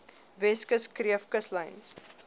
weskus kreef kuslyn